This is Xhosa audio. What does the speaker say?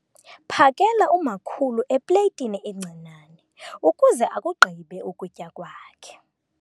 Phakela umakhulu epleyitini encinane ukuze akugqibe ukutya kwakhe.